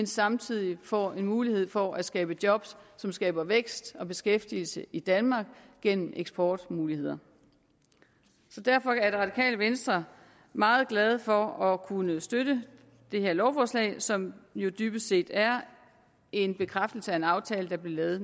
samtidig får en mulighed for at skabe job som skaber vækst og beskæftigelse i danmark gennem eksportmuligheder så derfor er radikale venstre meget glade for at kunne støtte det her lovforslag som jo dybest set er en bekræftelse af en aftale der blev lavet